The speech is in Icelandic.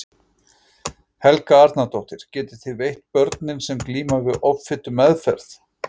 Helga Arnardóttir: Getið þið veitt börnum sem glíma við offitu meðferð?